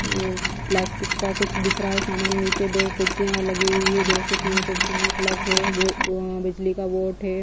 Plastic का कुछ दिख रहा है सामान नीचे दो कुर्सियाँ लगी हुई है दो से तीन कुर्सियाँ है प्लग है बिजली का बोर्ड हैं।